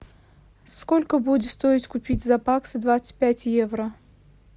сколько будет стоить купить за баксы двадцать пять евро